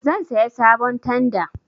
Zan saya sabon tanda